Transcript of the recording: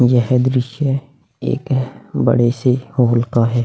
यह दृश्य एक बड़े से हॉल का है ।